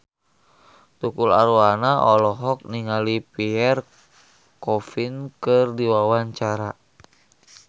Tukul Arwana olohok ningali Pierre Coffin keur diwawancara